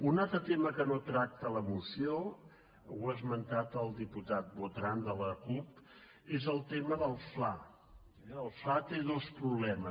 un altre tema que no tracta la moció ho ha esmentat el diputat botran de la cup és el tema del fla eh el fla té dos problemes